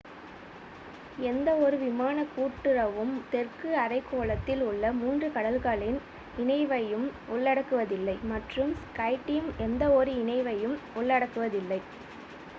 எந்தவொரு விமானக் கூட்டுறவும் தெற்கு அரைக்கோளத்தில் உள்ள மூன்று கடல்களின் இணைவையும் உள்ளடக்குவதில்லை மற்றும் ஸ்கைடீம் எந்தவொரு இணைவையும் உள்ளடக்குவதில்லை